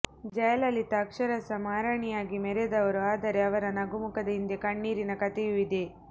ಜಯಲಲಿತಾ ಅಕ್ಷರಶಃ ಮಹಾರಾಣಿಯಾಗಿ ಮೆರೆದವರು ಆದರೆ ಅವರ ನಗುಮುಖದ ಹಿಂದೆ ಕಣ್ಣೀರಿನ ಕಥೆಯೂ ಇದೆ